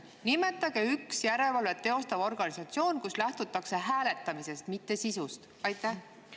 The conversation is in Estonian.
Nimetage üks järelevalvet teostav organisatsioon, kus lähtutakse hääletamisest, mitte sisust.